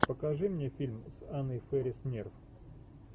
покажи мне фильм с анной фэрис нерв